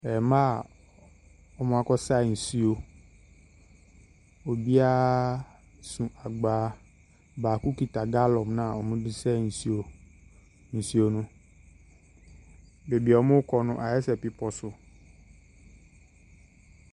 Mmaa a wɔakɔsa nsuo. Obiara so agbaa baako kita gallon no a wɔde sa nsuo nsuo no. Baabi a wɔrekɔ no, ayɛ sɛ bepɔ so.